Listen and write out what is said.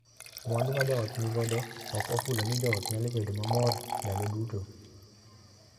Mwandu ma joot ni godo ok ofulo ni joot nyalo bedo mamor ndalo duto.